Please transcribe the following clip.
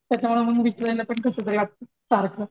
त्याच्या वरून विचारायला पण कसतर वाटत सारख